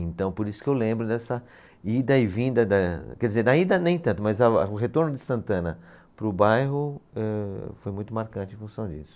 Então, por isso que eu lembro dessa ida e vinda, da, quer dizer, da ida nem tanto, mas a, o retorno de Santana para o bairro, eh, foi muito marcante em função disso.